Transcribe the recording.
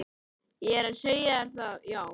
Ég er að segja þér það, já.